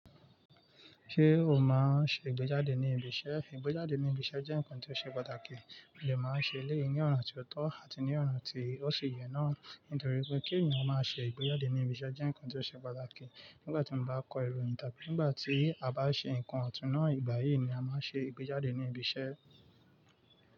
Ṣé o máa ń ṣe ìgbéjáde ní ibi iṣẹ́? Ìgbéjáde ní ibi iṣẹ́ jẹ́ nǹkan tí ó ṣe pàtàkì, mo de máa ń ṣe eleyìí ní ona tí ó tọ́ àti ní ona tí ó sì yẹ náà. Nítorí pé kí ènìyàn máa ṣe ìgbéjáde ní ibi iṣẹ́ jẹ́ nǹkan tí ó ṣe pàtàkì. Nígbà tí mo bá kọ ìròyìn tàbí nígbà tí a bá ṣe ǹkan ọ̀tún náà, ìgbà yìí ni a máa ń ṣe ìgbéjáde ní ibi iṣẹ́